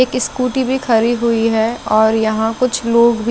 एक स्कूटी भी खड़ी हुई है और यहा कुछ लोग भी--